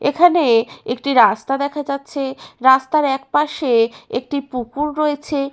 এখানে একটি রাস্তা দেখা যাচ্ছে রাস্তার একপাশে একটি পুকুর রয়েছে।